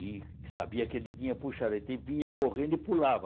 E sabia que ele tinha, e vinha correndo e pulava.